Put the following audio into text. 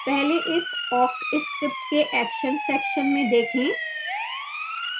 पहले इस awk script के action section में देखें